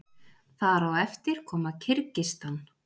þar á eftir koma kirgisistan